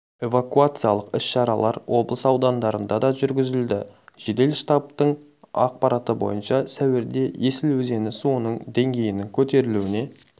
эвакуациялық іс-шаралар облыс аудандарында да жүргізілді жедел штабының ақпараты бойынша сәуірде есіл өзені суының деңгейінің көтерілуіне